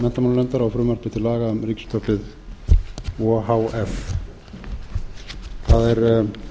á frumvarpi til laga um ríkisútvarpið o h f það er